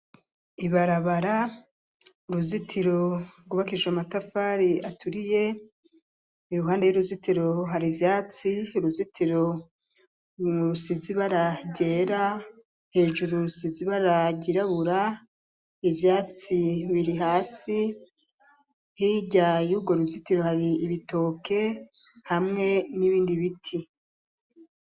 Ibarabara ryuruzitiro rwubakishijwe amatafari aturiye iruhanda y'uruzitiro hari ivyatsi uruzitiro rusize ibara ryera hejuru rusize ibara ryirabura ivyatsi biri hasi hirya yugwo ruzitiro hari ibitoke hamwe n'ibindi biti.